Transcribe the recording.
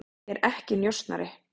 Ég er ekki njósnari.